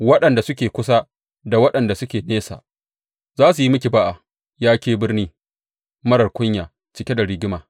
Waɗanda suke kusa da waɗanda suke nesa za su yi miki ba’a, ya ke birni marar kunya, cike da rigima.